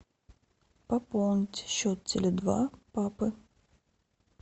пополнить счет теле два папы